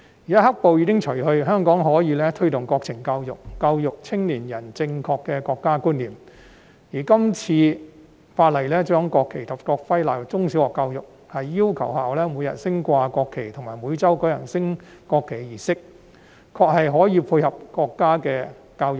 現在"黑暴"已除，香港可以推動國民教育，教育青年人正確的國家觀念，而今次《條例草案》規定將國旗及國徽納入中小學教育，要求學校每日升掛國旗及每周舉行升國旗儀式，確實可以配合國家的國情教育。